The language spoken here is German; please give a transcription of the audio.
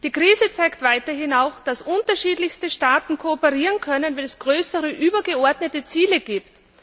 Die Krise zeigt weiterhin, dass unterschiedlichste Staaten kooperieren können, wenn es größere, übergeordnete Ziele gibt.